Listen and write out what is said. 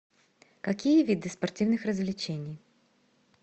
какие виды спортивных развлечений